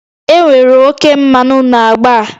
Enwere oke mmanụ na agba a